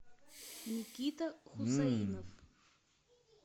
никита хусаинов